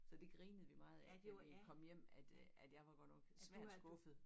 Så det grinede vi meget af da vi kom hjem at øh at jeg var godt nok svært skuffet